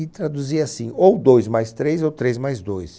E traduzia assim, ou dois mais três ou três mais dois.